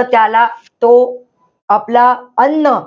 त्याला तो आपला अन्न